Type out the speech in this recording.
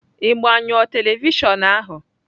Ị gbanyụọ tevịshịon ahu?